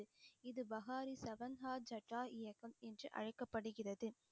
இது பகாரி சகன்ஹா இயக்கம் என்று அழைக்கப்படுகிறது